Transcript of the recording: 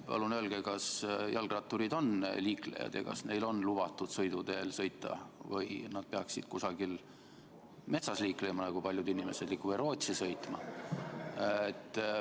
Palun öelge, kas jalgratturid on liiklejad ja kas neil on lubatud sõita sõiduteel või peaksid nad kusagil metsas liiklema, nagu paljud teised inimesed, või Rootsi sõitma?